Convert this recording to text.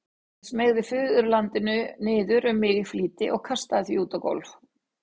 Ég smeygði föðurlandinu niður um mig í flýti og kastaði því út á gólf.